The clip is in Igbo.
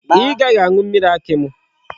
I gaghi aṅu mmiri akị mụ?